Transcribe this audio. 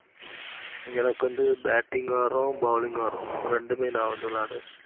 எனக்கு வந்து batting உம் வரும். bowling உம் வரும். ரெண்டுமே நா வந்து விளையாடுவேன்.